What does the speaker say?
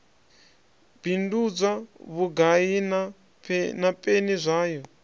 bindudzwa vhugai na peni zwayo